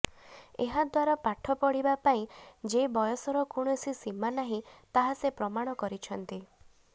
ଏହାଦ୍ୱାରା ପାଠ ପଢ଼ିବା ପାଇଁ ଯେ ବୟସର କୌଣସି ସୀମା ନାହିଁ ତାହା ସେ ପ୍ରମାଣ କରିଛନ୍ତି